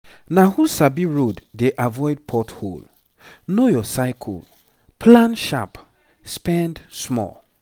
na who sabi road dey avoid pot hole. know your cycle plan sharp spend small.